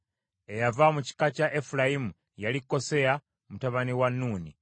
Eyava mu kika kya Efulayimu yali Koseya mutabani wa Nuuni.